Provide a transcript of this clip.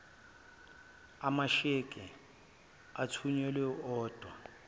amasheke athunyelwa odwa